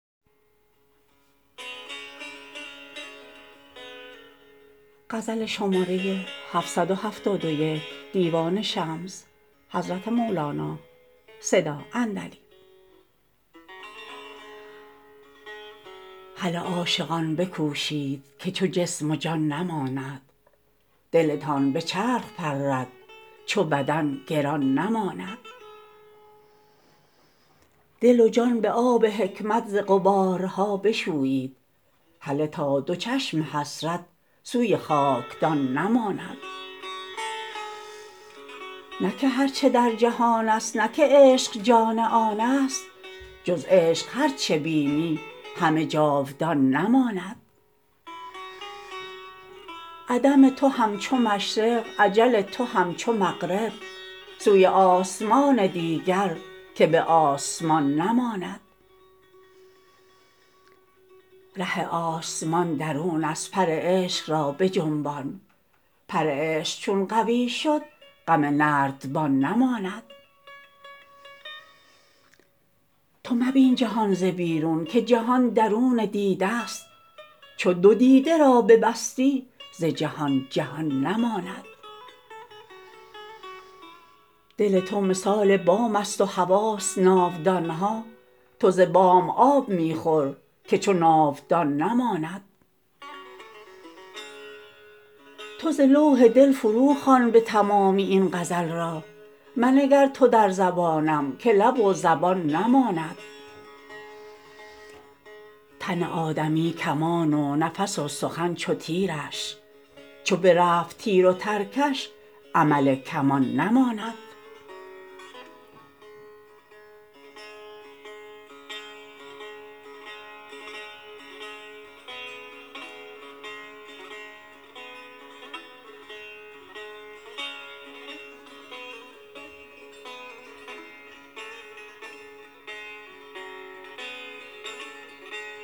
هله عاشقان بکوشید که چو جسم و جان نماند دلتان به چرخ پرد چو بدن گران نماند دل و جان به آب حکمت ز غبارها بشویید هله تا دو چشم حسرت سوی خاک دان نماند نه که هر چه در جهان است نه که عشق جان آن است جز عشق هر چه بینی همه جاودان نماند عدم تو هم چو مشرق اجل تو هم چو مغرب سوی آسمان دیگر که به آسمان نماند ره آسمان درون است پر عشق را بجنبان پر عشق چون قوی شد غم نردبان نماند تو مبین جهان ز بیرون که جهان درون دیده ست چو دو دیده را ببستی ز جهان جهان نماند دل تو مثال بام است و حواس ناودان ها تو ز بام آب می خور که چو ناودان نماند تو ز لوح دل فروخوان به تمامی این غزل را منگر تو در زبانم که لب و زبان نماند تن آدمی کمان و نفس و سخن چو تیرش چو برفت تیر و ترکش عمل کمان نماند